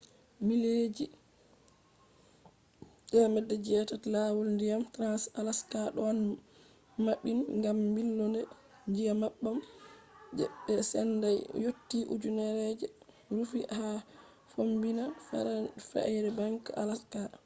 mileji 800 je lawol ndiyam trans-alaska ɗon maɓɓin gam ɓilonde nyebbam je ɓe sendai yotti ujunere je rufi ha fombina fairbanks alaska